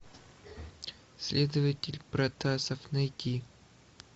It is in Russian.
следователь протасов найти